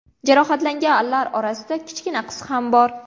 Jarohatlanganlar orasida kichkina qiz ham bor.